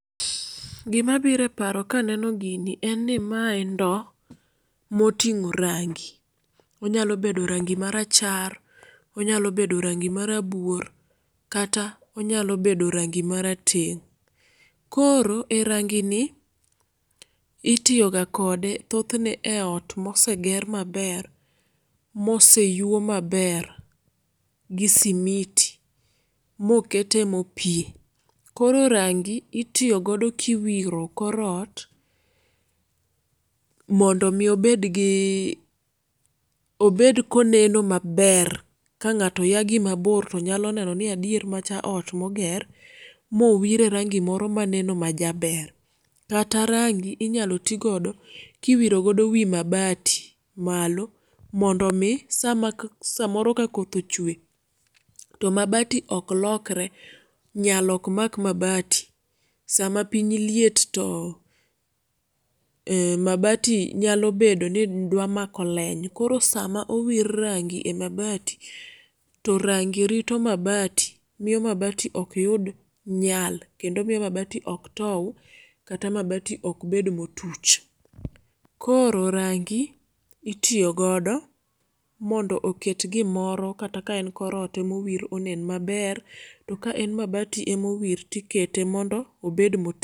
Gima biro eparo kaneno gini en ni mae ndoo motingo rangi. onyalo bedo rangi mara char, onyalo bedo rangi mara buor kata onyalo bedo rangi mara teng'.Koro erangini itiyoga kode thothne eot moseger maber moseyuo maber gi simiti mokete mopie. Koro rangi itiyoyo godo kiwiro korot mondo mi obedgii, obed koneno maberr ka ng'ato yagi mabor tonyalo nenoni adier macha oot moger mowire rangi moro maneno majaber. Kata rangi inyalo tii godo kiwiro godo wi mabati malo mondo mii sama samoro kakoth ochwe to mabati ok lokre nyal ok mak mabati .Sama piny liet too ee mabati nyalo bedoni dwa mako leny. Koro sama owir rangi e mabati torangi rito mabati miyo mabati ok yud nyal kendo miyo mabati ok tow kata mabati ok bed motuch. Koro rangi itiyo godo mondo oket gimoro kata kaen korot emowir onen maber to ka en mabati tikete mondo obed mot